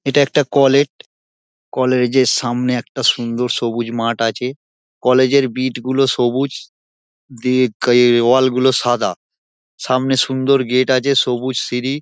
এটা একটা college. College -এর সামনে একটা সুন্দর সবুজ মাঠ আছে। কলেজ এর বিট -গুলো সবুজ দিয়ে কিয়ে ওয়াল -গুলো সাদা। সামনে সুন্দর গেট আছে সবুজ সিঁড়ি।